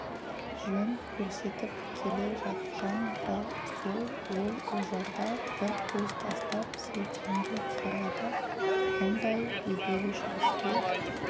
жөн көрсетіп келе жатқан да сол ол ожарға бір көз тастап сейтенге қарады мұндай жедел жүріске